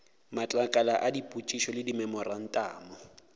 matlakala a dipotšišo le dimemorantamo